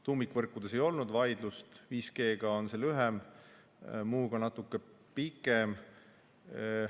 Tuumikvõrkude osas ei olnud vaidlust, 5G-ga on see lühem, muuga natuke pikem.